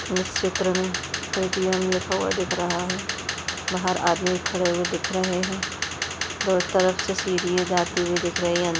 इस चित्र मे ए टी म लिखा हुवा दिख रहा हे बाहर आदमी खड़े हुवे हे दिख रहे हे दोनों तरफ से सिडिया जाती हुई हे दिख रही है।